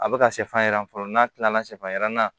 A bɛ ka sɛfan yiran fɔlɔ n'a tilala sɛfan yiran na